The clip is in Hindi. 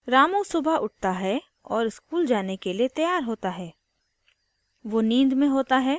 ramu सुबह उठता है और school जाने के लिए तैयार होता है